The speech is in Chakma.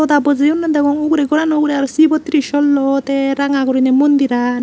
goda bojiyonne degong ugure gorano ugure aro sivo trisullo te ranga gurine mondhir ai.